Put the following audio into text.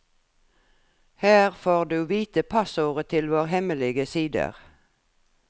Her får du vite passordet til våre hemmelige sider.